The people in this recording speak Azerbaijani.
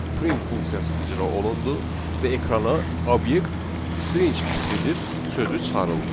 Print funksiyası icra olundu və ekrana obyekt string tiplidir sözü çıxarıldı.